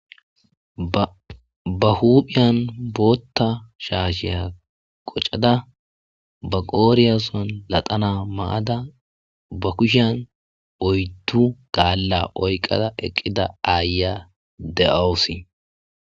ba huphiyan bootta shaasheya qoccada ba qooriyason latana maada ba kushean oyddu gaalla oyqada eqqida aaya de7awosi